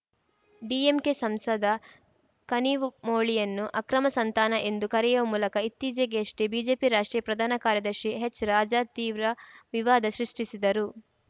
DMK ಸಂಸದ ಕನಿಮೋಳಿಯನ್ನು ಅಕ್ರಮ ಸಂತಾನ ಎಂದು ಕರೆಯುವ ಮೂಲಕ ಇತ್ತೀಚೆಗಷ್ಟೇ ಬಿಜೆಪಿ ರಾಷ್ಟ್ರೀಯ ಪ್ರಧಾನ ಕಾರ್ಯದರ್ಶಿ ಎಚ್‌ರಾಜಾ ತೀವ್ರ ವಿವಾದ ಸೃಷ್ಟಿಸಿದ್ದರು